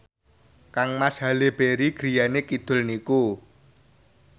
kangmas Halle Berry griyane kidul niku